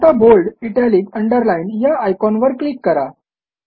आता bold italic underline या आयकॉनवर क्लिक करा